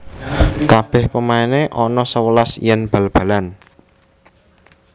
Kabeh pemaine ono sewelas yen bal balan